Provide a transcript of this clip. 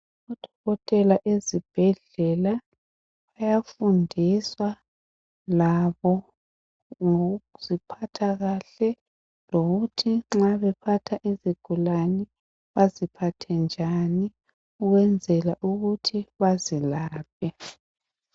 Odokotela ezibhedlela bayafundiswa labo ngokuziphatha kahle .Lokuthi nxa bephatha izigulane baziphathe njani ukwenzela ukuthi bazilaphe.